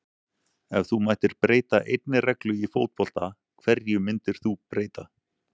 Ef þú mættir breyta einni reglu í fótbolta, hverju myndir þú breyta?